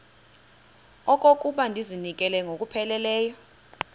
okokuba ndizinikele ngokupheleleyo